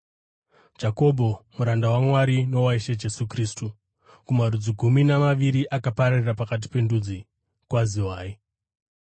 Jakobho, muranda waMwari nowaIshe Jesu Kristu, kumarudzi gumi namaviri akapararira pakati pendudzi: Kwaziwai.